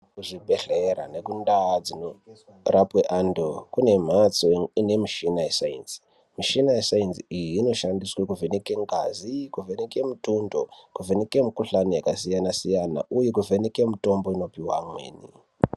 Kuzvibhedhlera nekundaa dzinorapwe antu kunemhatso ine michina yesainzi. Michina yesainzi iyi inoshandiswe kuvheneke ngazi, kuvheneke mutundo, kuvheneke mukuhlani yakasiyana-siyana uye kuvheneke mutombo inopihwa amweni.